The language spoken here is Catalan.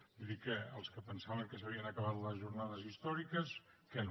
vull dir que els que es pensaven que s’havien acabat les jornades històriques que no